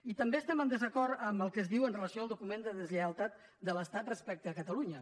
i també estem en desacord en el que es diu amb relació al document de deslleialtat de l’estat respecte a catalunya